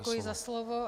Děkuji za slovo.